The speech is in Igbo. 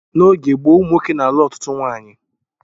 N'oge gboo ụmụ nwoke na-alụ ọtụtụ nwaanyị